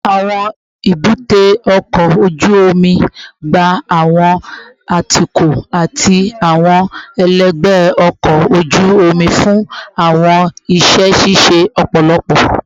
Awọn ebute oko oju omi gba awọn atukọ ati awọn ẹlẹgbẹ ọkọ oju omi fun awọn iṣẹ ṣiṣe lọpọlọpọ